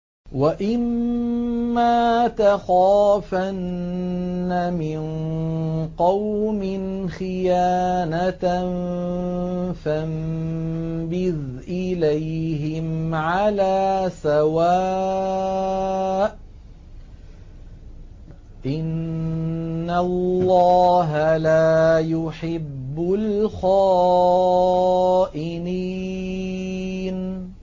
وَإِمَّا تَخَافَنَّ مِن قَوْمٍ خِيَانَةً فَانبِذْ إِلَيْهِمْ عَلَىٰ سَوَاءٍ ۚ إِنَّ اللَّهَ لَا يُحِبُّ الْخَائِنِينَ